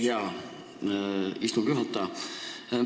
Hea ettekandja!